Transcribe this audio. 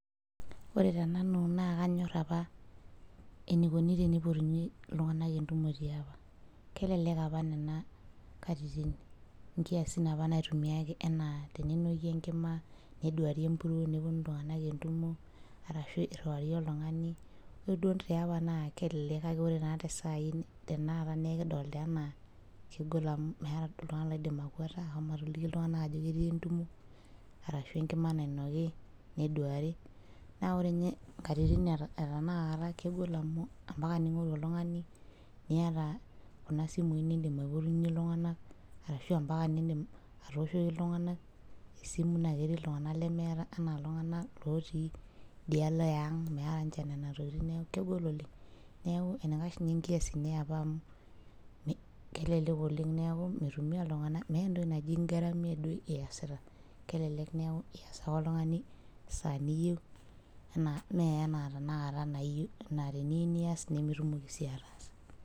Ore tenanu naa kanyorr apa, eneikuni teneipotuni iltung'anak entumo tiapa. Kelelek apa nena katitin inkiasin apa naitumiai apa enaa keinoki ekima neduari empurruo nepunu iltung'ana entumo arashu irruari oltung'ani, ore duo tiapa naa kelelek kake ore naa tesai tenakata nee kidolita enaa kegol amuu meeta duo oltung'ani oidim akweta ashomo atoliki iltung'ana ajo ketii entumo arashu enkima nainoki neduari naa ore ninye inkatitin etanaka kegol amuu amapaka ning'oru oltung'ani niyata kuna simui niidim aipoyunye iltung'ana arashu amapaka nidiim atooshoki iltung'ana esimu naa ketii iltung'ana lemeeta enaa iltung'ana looti idialo eang' meeta ninche nena tokiting' neeku kegol oleng' , neeku eneikash ninye inkiasin eapa amuu mi kelelek oleng' neeku mitumia iltung'ana meeta entoki naji ingaramia duo iyasita kelelek neeku ias ake oltung'ani esaa niyeu enaa mee enaa teniyeu nias nimitumoki sii ataasa.